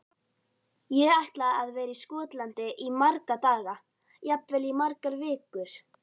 Ég ætla að vera í Skotlandi í marga daga, jafnvel í margar vikur.